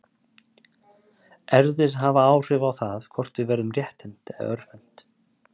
Erfðir hafa áhrif á það hvort við verðum rétthent eða örvhent.